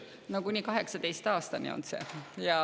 No kuni 18. aastani on.